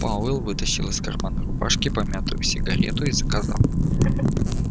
пауэлл вытащил из кармана рубашки помятую сигарету и сказал